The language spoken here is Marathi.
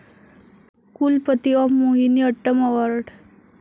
कुलपती ऑफ मोहिनी अट्टम अवार्ड